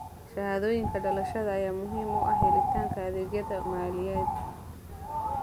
Shahaadooyinka dhalashada ayaa muhiim u ah helitaanka adeegyada maaliyadeed.